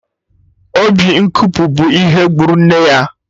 Obi nkopu bụ ihe gburu nne ya